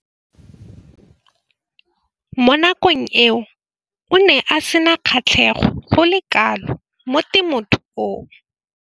Mo nakong eo o ne a sena kgatlhego go le kalo mo temothuong.